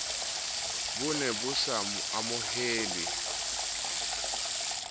bo ne bo sa amohelehe